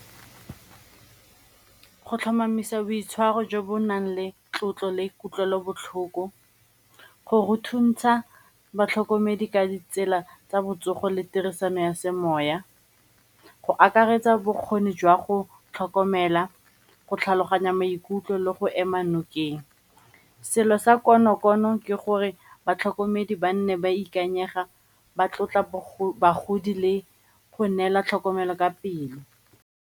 Go tlhomamisa boitshwaro jo bo nang le tlotlo le kutlwelobotlhoko go go thuntsha batlhokomedi ka ditsela tsa botsogo le tirisano ya semoya go akaretsa bokgoni jwa go tlhokomela, go tlhaloganya maikutlo le go ema nokeng. Selo sa konokono ke gore batlhokomedi ba nne ba ikanyega ba tlotla bagodi le go neela tlhokomelo ka pele.